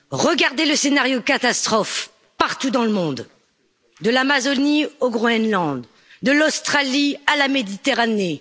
Regardez le scénario catastrophe partout dans le monde, de l'Amazonie au Groenland, de l'Australie à la Méditerranée.